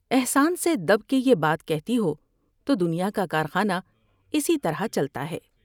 احسان سے دب کے یہ بات کہتی ہو تو دنیا کا کارخانہ اسی طرح چلتا ہے ۔